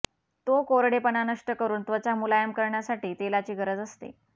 तो कोरडेपणा नष्ट करून त्वचा मुलायम करण्यासाठी तेलाची गरज असते